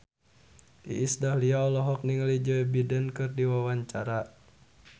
Iis Dahlia olohok ningali Joe Biden keur diwawancara